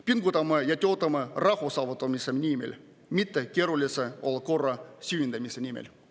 Pingutame ja töötame rahu saavutamise nimel, mitte keerulise olukorra süvendamise nimel.